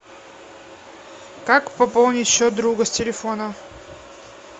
как пополнить счет друга с телефона